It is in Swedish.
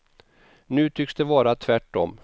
Nu tycks det vara tvärt om.